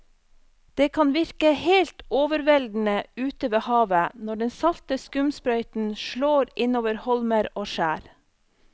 Det kan virke helt overveldende ute ved havet når den salte skumsprøyten slår innover holmer og skjær.